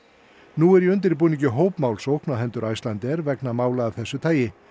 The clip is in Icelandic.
nú er í undirbúningi hópmálsókn á hendur Icelandair vegna mála af þessu tagi